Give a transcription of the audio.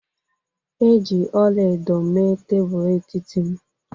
E ji ọla edo mee tebụl etiti m